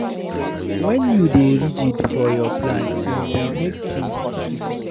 Wen you dey rigid for your plan, e dey make tins difficult.